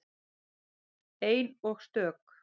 Ein og stök.